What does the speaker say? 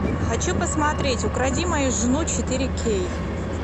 хочу посмотреть укради мою жену четыре кей